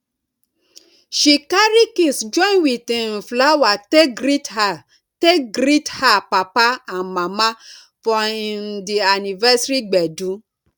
she carry kiss join with um flower take greet her take greet her papa and mama for um di anniversary gbedu